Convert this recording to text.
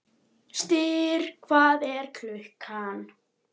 Styrr, hvað er klukkan?